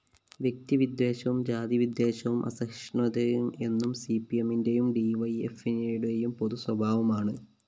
വ്യക്തിവിദ്വേഷവും ജാതിവിദ്വേഷവും അസഹിഷ്ണുതയും എന്നും സിപിഎമ്മിന്റെയും ഡിവൈഎഫ്‌ഐയുടെയും പൊതുസ്വഭാവമാണ്